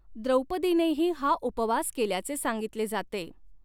द्रौपदीनेही हा उपवास केल्याचे सांगितले जाते.